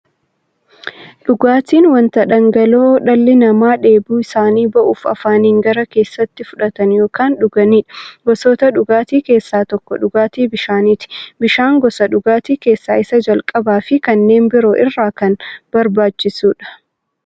Dhugaatiin wanta dhangala'oo dhalli namaa dheebuu isaanii ba'uuf, afaaniin gara keessaatti fudhatan yookiin dhuganiidha. Gosoota dhugaatii keessaa tokko dhugaatii bishaaniti. Bishaan gosa dhugaatii keessaa isa jalqabaafi kanneen biroo irra kan barbaachisuudha.